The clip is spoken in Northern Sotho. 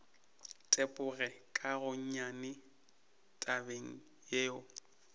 tepoge ka gonnyane tabeng yeo